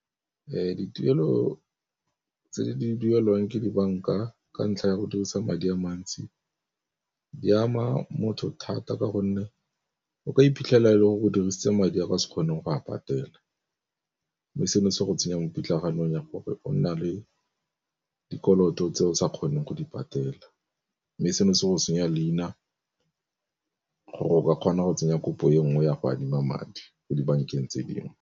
Dituelo tse di duelwang ke di banka ka ntlha ya go dirisa madi a mantsi, di ama motho thata ka gonne o ka iphitlhela e le gore o dirisitse madi a o ka se kgoneng go a patela. Mme seno se go tsenya mo pitlaganeng ya gore o nna le dikoloto tse o sa kgoneng go di patela, mme seno se go senya leina gore o ka kgona go tsenya kopo e nngwe ya go adima madi ko dibankeng tse dingwe.